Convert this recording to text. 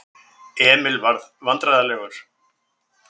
Emil varð vandræðalegur.